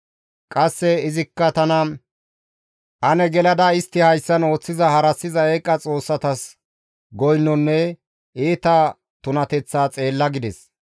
Qasseka izi tana, «Ane gelada istta hayssan ooththiza harassiza eeqa xoossatas goynonne iita tunateththaa xeella» gides.